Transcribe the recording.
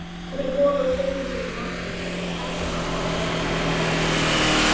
Dropinn holar steininn segir máltækið, ekki með afli heldur með því að falla oft